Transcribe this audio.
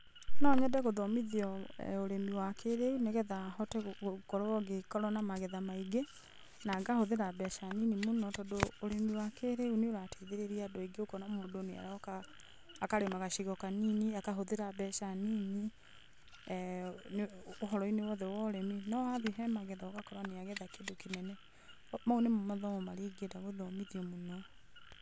No nyende gũthomithio ũrĩmi wa kĩrĩu nĩgetha hote gũkũrwo ngĩkorwo na magetha maingĩ. Na ngahũthĩra mbeca nyinyi mũno, tondũ ũrĩmi wa kĩrĩu nĩ ũrateithĩrĩria andũ aingĩ, ũkona mũndũ nĩ aroka akarĩma gacigo ka nini, akahũthĩra mbeca nini ũhoro -inĩ wothe wa ũrĩm,i no wathiĩ magetha-inĩ ũkona nĩ agetha kĩndũ kĩnene. Mau nĩmo mathomo ingĩenda gũthomithio mũno.